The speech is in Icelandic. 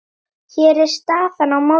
Hér er staðan í mótinu.